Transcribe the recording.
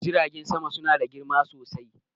jiragen sama suna da girma sosai